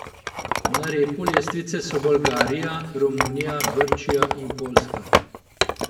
Na repu lestvice so Bolgarija, Romunija, Grčija in Poljska.